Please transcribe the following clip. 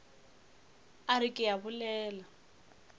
a re ke a bolela